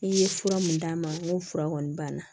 I ye fura mun d'a ma n ko fura kɔni banna